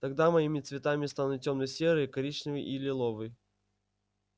тогда моими цветами станут тёмно-серый коричневый и лиловый